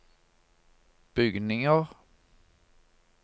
bygninger